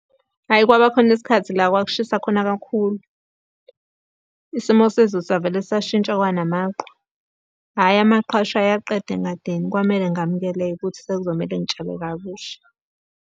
Hhayi, kwaba khona isikhathi la kwakushisa khona kakhulu. Isimo sezulu savele sashintsha kwanamaqhwa. Hhayi amaqhwa ashaya aqeda engadini kwamele ngamukeleke-ke ukuthi sekuzomele ngitshale kabusha.